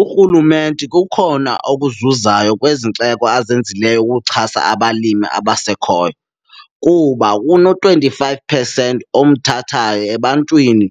Urhulumente kukhona okuzuzayo kwezinxeko azenzileyo ukuxhasa abalimi abasekhoyo kuba kuno-twenty-five percent omthathayo ebantwini